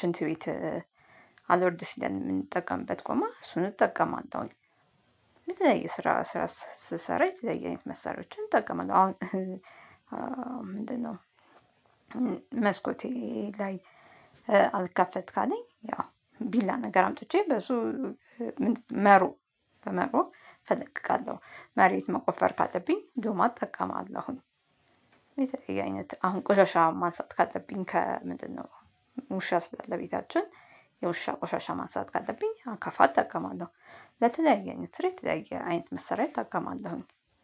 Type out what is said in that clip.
ሽንት ቤት አልወርድ ሲለን የምንጠቀምበት ጎማ እሱን እጠቀማለሁኝ። የስራ ስራ ስሰራ የተለየ አይነት መሳሪያዎችን እጠቀማለሁ። አሁን ምንድነው መስኮቴ ላይ አልከፈት ካለኝ ያው ቢላ ነገር አምጥቼ በሱ መሮ በመሩ እፈለቅቃለሁኝ። መሬት መቆፈር ካለብኝ ዶማ እተቀማለሁኝ። የተለያየ አይነት አሁን ቁሻሻ ማንሳት ካለብኝ ከምንድነው ሙሻ ስላለ ቤታችን የውሻ ቆሻሻ ማንሳት ካለብኝ አካፋት እጠቀማለሁ። ለተለያየ ስራ የተለያየ አይነት መሳሪያ እጠቀማለሁኝ።